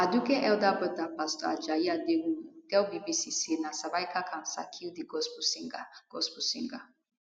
aduke elder broda pastor ajayi aderounmu tell bbc say na cervical cancer kill di gospel singer gospel singer